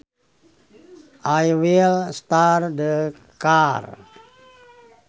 I will start the car